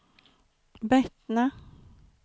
Bettna